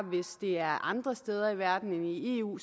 er andre steder i verden end i eu